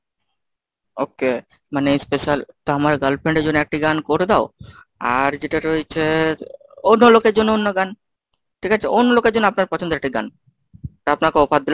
okay মানে special তো আমার girlfriend এর জন্য একটি গান করে দাও। আর যেটা রয়েছে অন্য লোকের জন্য অন্য গান, ঠিক আছে? অন্য লোকের জন্য আপনার পছন্দের একটি গান, তা আপনাকে offer দিলাম।